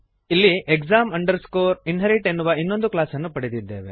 ಇಲ್ಲಿ exam inherit ಎನ್ನುವ ಇನ್ನೊಂದು ಕ್ಲಾಸನ್ನು ಪಡೆದಿದ್ದೇವೆ